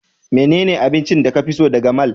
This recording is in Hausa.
Menene abincin da ka fi so daga mall?